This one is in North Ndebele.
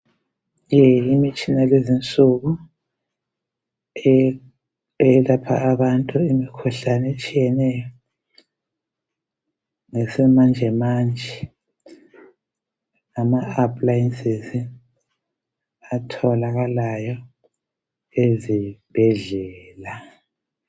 Le imitshina yalezinsuku eyelapha abantu imikhuhlane etshiyeneyo ngesimanjemanje ngama aplayensizi atholakalayo ezibhedlela.